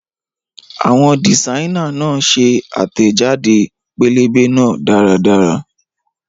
Àwọn dìsáínà náà ṣe àtẹ̀jáde pẹ́lẹ́bẹ́ náà dáradára